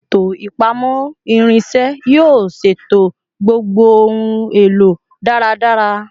Eto ipamọ irinṣẹ yoo ṣeto gbogbo ohun elo daradara